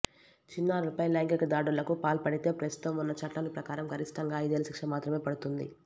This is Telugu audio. చిన్నారులపై లైంగిక దాడులకు పాల్పడితే ప్రస్తుతం ఉన్న చట్టాల ప్రకారం గరిష్టంగా ఐదేళ్ల శిక్ష మాత్రమే పడుతుంది